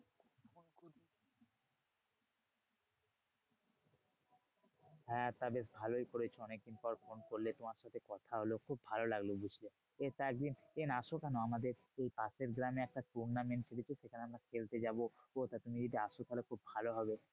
হ্যাঁ তা বেশ ভালোই করেছো অনেক দিন পর ফোন করলে তোমার সাথে কথা হলো খুব ভালো লাগলো, বুঝলে? তা একদিন আসো কেন আমাদের পাশের গ্রামে একটা tournament হয়েছে সেখানে আমরা খেলতে যাবো। তা তুমি যদি আসো তাহলে খুব ভালো হবে।